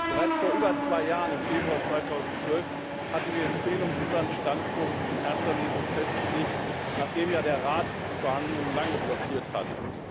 Bereits vor über zwei Jahren, im Februar 2012, hatten wir im Plenum unseren Standpunkt in erster Lesung festlegt, nachdem ja der Rat die Verhandlungen lange blockiert hatte.